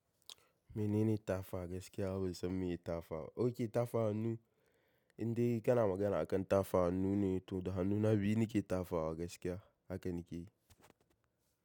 Menene tafa gaskiya? Bansan meye tafa ba? Ok tafa hannu, indai kana magana akan tafa hannu ne, to da hannuna biyu ne ke tafa wa gaskiya haka nake yi.